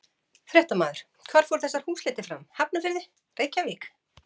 Fréttamaður: Hvar fóru þessar húsleitir fram, Hafnarfirði, Reykjavík?